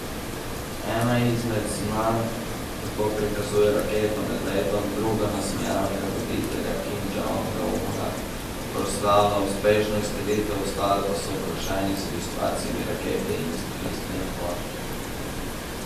Ena izmed znamk tako prikazuje raketo med letom, druga nasmejanega voditelja Kima Džong Una, ki proslavlja uspešno izstrelitev, ostale pa so okrašene z ilustracijami rakete in izstrelitvene plošče.